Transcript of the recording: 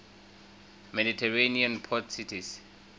mediterranean port cities